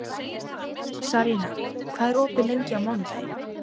Sarína, hvað er opið lengi á mánudaginn?